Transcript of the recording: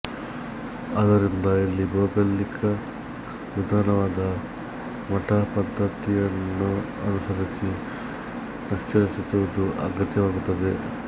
ಆದ್ದರಿಂದ ಇಲ್ಲಿ ಭೌಗೋಳಿಕ ವಿಧಾನವಾದ ಮಟ್ಟ ಪದ್ದತಿಯನ್ನನುಸರಿಸಿ ನಕ್ಷೆ ರಚಿಸುವುದು ಅಗತ್ಯವಾಗುತ್ತದೆ